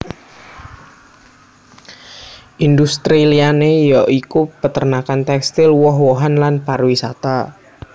Industri liyané ya iku peternakan tekstil woh wohan lan pariwisata